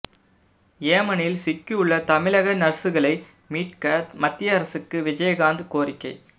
ஏமனில் சிக்கியுள்ள தமிழக நர்சுகளை மீட்க மத்திய அரசுக்கு விஜயகாந்த் கோரிக்கை